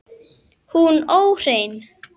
Hún óhrein.